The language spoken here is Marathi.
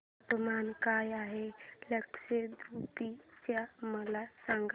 तापमान काय आहे लक्षद्वीप चे मला सांगा